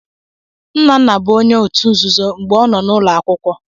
Nnanna bụ onye òtù nzuzo mgbe ọ nọ n'ụlọ akwụkwọ.